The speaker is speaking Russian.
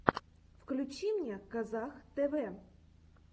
включи мне казах тэвэ